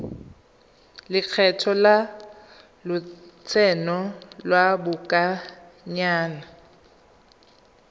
lekgetho la lotseno lwa lobakanyana